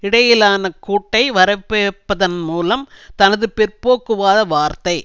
இடையிலான கூட்டை வரவேற்பதன் மூலம் தனது பிற்போக்குவாத வார்த்தை